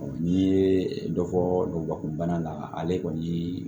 n'i ye dɔ fɔ nkɔ bana la ale kɔni